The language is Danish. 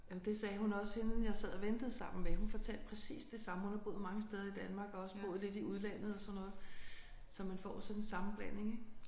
Jamen det sagde hun også hende jeg sad og ventede sammen med hun fortalte præcis det samme. Hun har boet mange steder i Danmark og også boet lidt i udlandet og sådan noget så man får sådan en sammenblanding ik